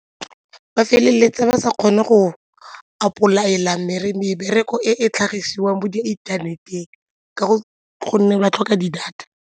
Ba feleletsa ba sa kgone go apply-ela mebereko e e tlhagiswang mo di inthaneteng ka go gonne ba tlhoka di-data.